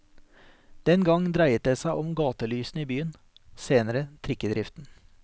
Den gang dreiet det seg om gatelysene i byen, senere trikkedriften.